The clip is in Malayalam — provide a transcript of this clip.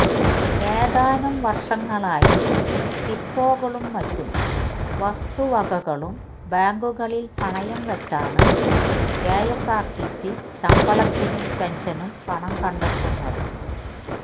ഏതാനും വർഷങ്ങളായി ഡിപ്പോകളും മറ്റു വസ്തുവകകളും ബാങ്കുകളിൽ പണയം വച്ചാണ് കെഎസ്ആർടിസി ശമ്പളത്തിനും പെൻഷനും പണം കണ്ടെത്തുന്നത്